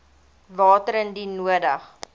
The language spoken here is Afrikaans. water indien nodig